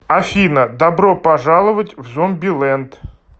афина добро пожаловать в зомби ленд